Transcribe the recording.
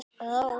Hneta Rós.